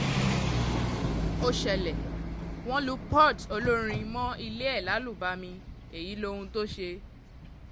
ó ṣẹlẹ̀ wọ́n lu port olórin mọ́ ilé ẹ̀ lálùbami èyí lohun tó ṣe